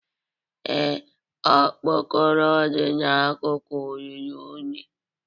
Ee, okpokoro dị n'akụkụ ruru unyi